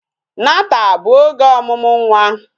Nata bụ oge ọmụmụ nwa